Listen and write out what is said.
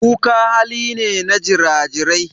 Kuka hali ne na jira-jirai.